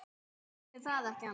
Ætli það ekki annars.